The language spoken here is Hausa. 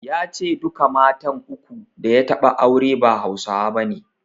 Ya ce duka matan uku da ya taɓa aure ba Hausawa bane.